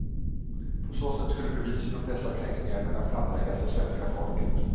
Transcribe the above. På så sätt skulle bevisen om dessa kränkningar kunna framläggas för svenska folket.